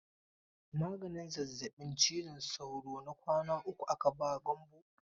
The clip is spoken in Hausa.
Maganin zazzabin ciwon sauro na kwana uku aka ba Gambo.